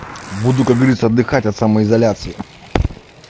буду как говориться отдыхать от самоизоляции